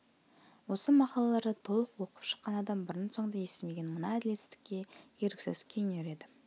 осы мақалаларды толық оқып шыққан адам бұрын-соңды естімеген мына әділетсіздікке еріксіз күйінер еді